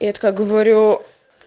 я такая говорю